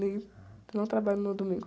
Nem, não trabalho no domingo.